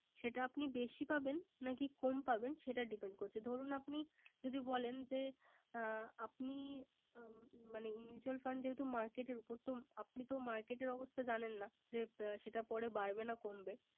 সেটা আপনি বেশি পাবেন না কি কম পাবেন সেটা Depend করছে। ধরুন আপনি যদি বলেন যে, আপনি মানে Mutual fund যেহেতু Market এর উপর । আপনি তো Market এর অবস্থা যানেন না । সেটা পরে বাড়বে না কমবে ।